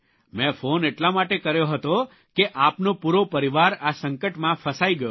મેં ફોન એટલા માટે કર્યો હતો કે આપનો પૂરો પરિવાર આ સંકટમાં ફસાઇ ગયો હતો